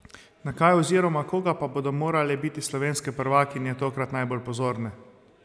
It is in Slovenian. Na kaj oziroma koga pa bodo morale biti slovenske prvakinje tokrat najbolj pozorne?